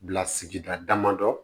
Bila sigida damadɔ